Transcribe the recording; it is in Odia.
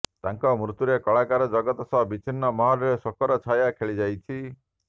ତାଙ୍କ ମୃତ୍ୟୁରେ କଳାକାର ଜଗତ ସହ ବିଭିନ୍ନ ମହଲରେ ଶୋକର ଛାୟା ଖେଳିଯାଇଛି